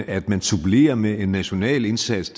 at man supplerer med en national indsats